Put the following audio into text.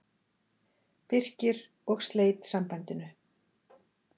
Birkir og sleit sambandinu.